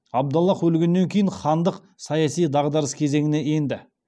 абдаллах өлгеннен кейін хандық саяси дағдарыс кезеңіне енді